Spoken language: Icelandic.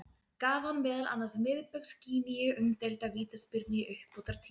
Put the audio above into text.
Gaf hann meðal annars Miðbaugs Gíneu umdeilda vítaspyrnu í uppbótartíma.